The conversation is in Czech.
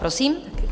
Prosím.